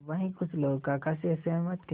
वहीं कुछ लोग काका से सहमत थे